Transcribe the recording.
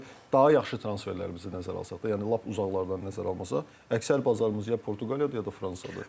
Yəni daha yaxşı transferlərimizi nəzərə alsaq da, yəni lap uzaqlardan nəzərə almasaq, əksər bazarımız ya Portuqaliyadır, ya da Fransadır.